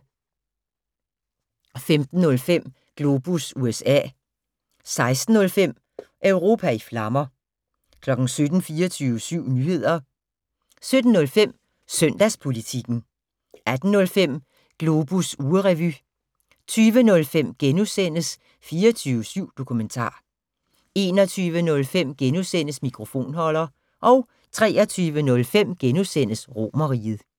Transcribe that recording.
15:05: Globus USA 16:05: Europa i flammer 17:00: 24syv Nyheder 17:05: Søndagspolitikken 18:05: Globus ugerevy 20:05: 24syv Dokumentar * 21:05: Mikrofonholder * 23:05: Romerriget *